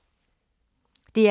DR K